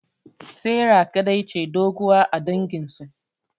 Sarah kadai ce doguwa a dangin su